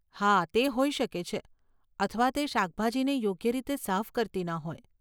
હા, તે હોઈ શકે છે અથવા તે શાકભાજીને યોગ્ય રીતે સાફ કરતી ન હોય.